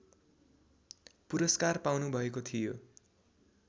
पुरस्कार पाउनुभएको थियो